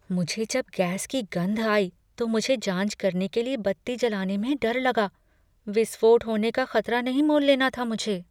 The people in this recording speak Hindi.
मुझे जब गैस की गंध आई तो मुझे जांच करने के लिए बत्ती जलने में डर लगा। विस्फोट होने का खतरा नहीं मोल लेना था मुझे।